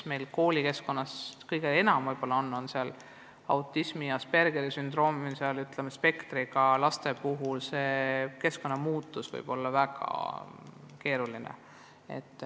Meil on koolides kõige enam Aspergeri sündroomi ja muude autismispektri häiretega lapsi ja nende puhul võib keskkonnamuutus olla väga keeruline.